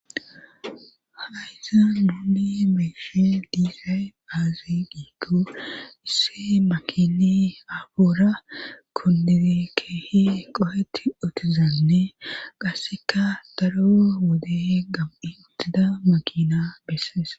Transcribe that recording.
hayza nuuni be'ishe diisay aazi giikkoo isse makini afoora kundize keehi qohetti otizanne qasseka daro wode gam'i uttida makina bessees